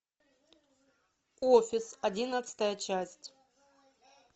офис одиннадцатая часть